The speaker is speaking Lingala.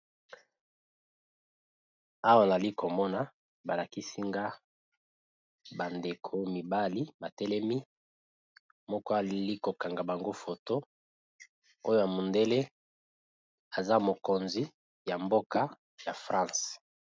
Awa nali komona ba lakisi nga ba ndeko mibali ba telemi, moko ali kokanga bango foto oyo mondele aza mokonzi ya mboka ya france.